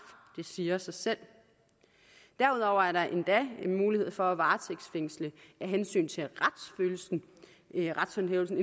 det siger sig selv derudover er der endda mulighed for at varetægtsfængsle af hensyn til retshåndhævelsen